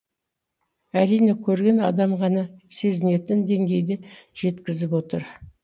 әрине көрген адам ғана сезінетін деңгейде жеткізіп отыр